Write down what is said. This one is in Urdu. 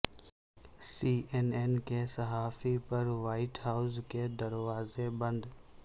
سی این این کے صحافی پر وائٹ ہائوس کے دروازے بند